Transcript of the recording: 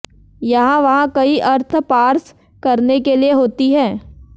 यहाँ वहाँ कई अर्थ पार्स करने के लिए होती है